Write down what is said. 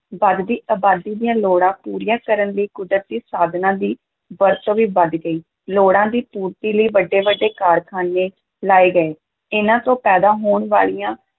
ਵੱਧਦੀ ਅਬਾਦੀ ਦੀਆਂ ਲੋੜਾਂ ਪੂਰੀਆਂ ਕਰਨ ਲਈ ਕੁਦਰਤੀ ਸਾਧਨਾਂ ਦੀ ਵਰਤੋਂ ਵੀ ਵਧ ਗਈ, ਲੋੜਾਂ ਦੀ ਪੂਰਤੀ ਲਈ ਵੱਡੇ-ਵੱਡੇ ਕਾਰਖਾਨੇ ਲਾਏ ਗਏ, ਇਹਨਾਂ ਤੋਂ ਪੈਦਾ ਹੋਣ ਵਾਲੀਆਂ